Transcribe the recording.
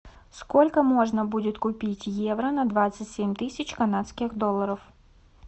сколько можно будет купить евро на двадцать семь тысяч канадских долларов